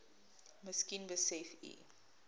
miskien besef u